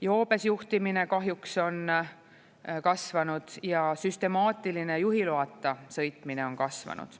Joobes juhtimine kahjuks on kasvanud ja süstemaatiline juhiloata sõitmine on kasvanud.